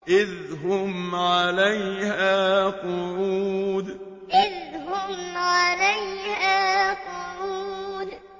إِذْ هُمْ عَلَيْهَا قُعُودٌ إِذْ هُمْ عَلَيْهَا قُعُودٌ